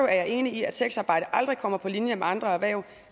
er jeg enig i at sexarbejde aldrig kommer på linje med andre erhverv